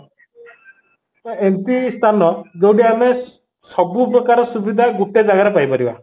ଏମିତି ସ୍ଥାନ ଯୋଉଠି ଆମେ ସବୁ ପ୍ରକାର ସୁବିଧା ଗୋଟେ ଜାଗାରେ ପାଇ ପାରିବା